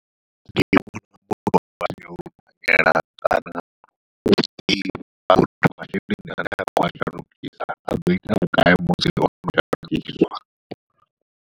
Ndi vhona yo lugela kana u ḓivha uri masheleni ane a khou a shandukisa aḓo ita vhugai musi ono shandukiswa.